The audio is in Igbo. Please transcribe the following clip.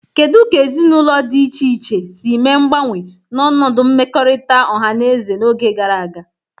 Kedu ka ezinụlọ di iche iche si mee mgbanwe n'ọnọdụ mmekọrịta ọha na eze n'oge gara aga?